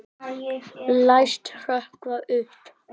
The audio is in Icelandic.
Læst hrökkva upp.